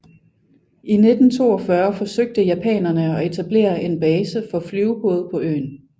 I 1942 forsøgte japanerne at etablere en base for flyvebåde på øen